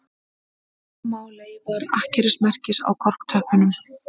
Sjá má leifar akkerismerkis á korktöppunum